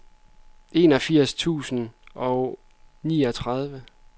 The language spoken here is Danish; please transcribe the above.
enogfirs tusind og niogtredive